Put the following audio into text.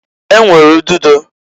E nwere udegide.